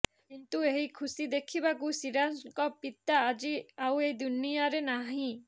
କିନ୍ତୁ ଏହି ଖୁସି ଦେଖିବାକୁ ସିରାଜଙ୍କ ପିତା ଆଜି ଆଉ ଏହି ଦୁନିଆରେ ନାହିଁ